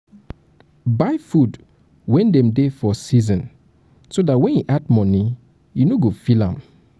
buy food when dem dey for season so um dat when e add money you no go feel am